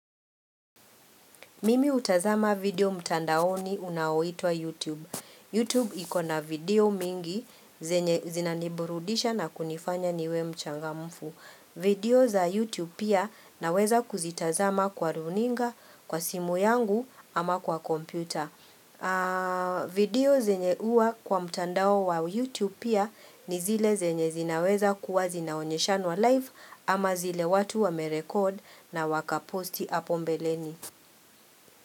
Mimi utazama video mtandaoni unaoitwa YouTube. YouTube ikona video mingi zinaniburudisha na kunifanya niwe mchangamfu. Video za YouTube pia naweza kuzitazama kwa runinga, kwa simu yangu ama kwa kompyuta. Video zenye uwa kwa mtandao wa YouTube pia ni zile zenye zinaweza kuwa zinaonyeshanwa live ama zile watu wa merekod na waka posti apombe leni.